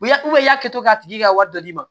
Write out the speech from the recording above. Ya u y'a kɛ k'a tigi ka wari dɔ d'i ma